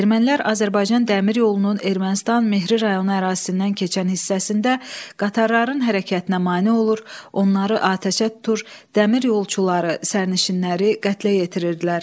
Ermənilər Azərbaycan dəmir yolunun Ermənistan Mehri rayonu ərazisindən keçən hissəsində qatarların hərəkətinə mane olur, onları atəşə tutur, dəmiryolçuları, sərnişinləri qətlə yetirirdilər.